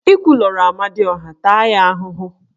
Ị kwulurọ Amadioha, taa ya ahụhụ!